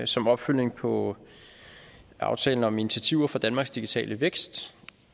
som opfølgning på aftale om initiativer for danmarks digitale vækst